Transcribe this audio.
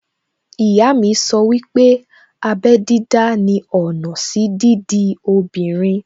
Ìyá mi sọ wípé abẹ́ dídá ni ọ̀nà sí dídi obìnrin